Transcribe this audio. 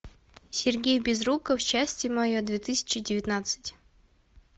сергей безруков счастье мое две тысячи девятнадцать